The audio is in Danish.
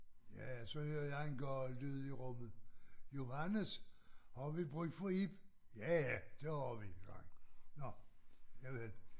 Ja så hører jeg en gal lyd i rummet Johannes har vi brug for Ib ja ja det har vi nåh javel